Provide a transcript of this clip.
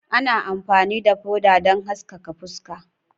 Ana amfani da foda don haskaka fuska.